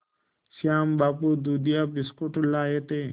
श्याम बाबू दूधिया बिस्कुट लाए थे